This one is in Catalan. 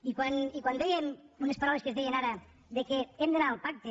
i quan dèiem unes paraules que es deien ara que hem d’anar al pacte